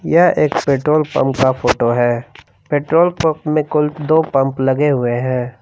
यह एक petrol pump का फोटो है पेट्रोल पंप में कुल दो पंप लगे हुए हैं।